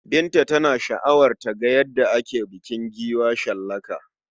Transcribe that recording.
Binta tana sha'awar ta ga yadda ake bukin giwa shallaka.